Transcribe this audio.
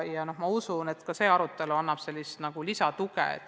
Ma usun, et ka tänane arutelu annab sellele lisatuge.